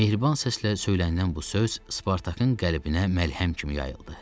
Mehriban səslə söylənilən bu söz Spartakın qəlbinə məlhəm kimi yayıldı.